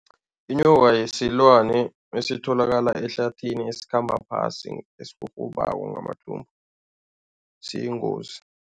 Inyoka isilwane esitholakala ehlathini esikhamba phasi esirhurhubako ngamathumbu, siyingozi.